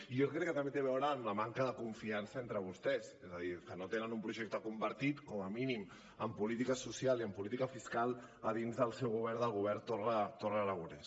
i jo crec que també té a veure amb la manca de confiança entre vostès és a dir que no tenen un projecte compartit com a mínim en política social i en política fiscal a dins del seu govern del govern torra aragonès